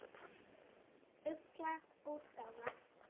Ugla útgáfa.